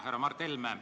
Härra Mart Helme!